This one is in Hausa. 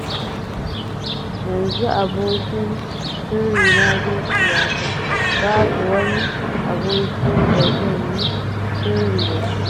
Yanzu abokin sirrina zuciyata, babu wani aboki da zan yi sirri da shi.